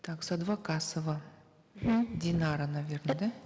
так садвакасова мхм динара наверно да